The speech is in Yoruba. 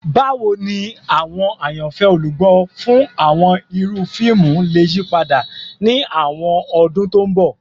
Bawo ni awọn ayanfẹ olugbo fun awọn iru fiimu le yipada ni awọn ọdun to nbọ?